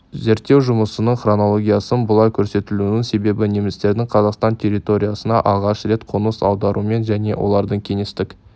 зерттеу жұмысының хронологиясын бұлай көрсетілуінің себебі немістердің қазақстан территориясына алғаш рет қоныс аударуымен және олардың кеңестік